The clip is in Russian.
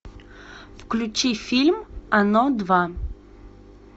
включи фильм оно два